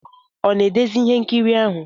Ọ na-edezi ihe nkiri ahụ?